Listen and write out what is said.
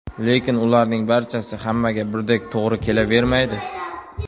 Lekin ularning barchasi hammaga birdek to‘g‘ri kelavermaydi.